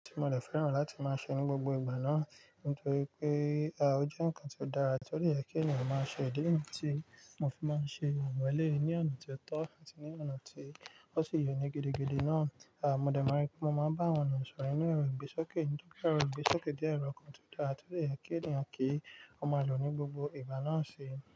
Tí mo dẹ̀ fẹ́ràn láti máa ṣe ní gbogbo ìgbà náà nítorí pé, à, ó jẹ́ nǹkan tó dára tí ó de yẹ kí ènìyàn máa ṣe. Ìdí níyì tìí mo fi máa ń ṣe awọ̀n elèyii ní ọ̀nà tí ó tọ́ àti ní ọ̀nà tí ó ṣì yé ní gidi náà. À, mo dẹ̀ máa rí pé mo máa bá àwọn ènìyàn sọ̀rọ̀ ninú ìgbéṣókè nítorí pé èrò ìgbéṣókè jẹ́ nnkan kan tó dára tí ó de jẹ kí ènìyàn kí ó máa lò ní gbogbo ìgbà náà síi.